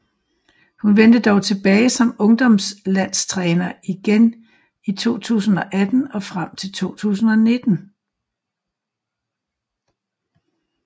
Hun vendte dog tilbage som ungdomslandstræner igen i 2018 og frem til 2019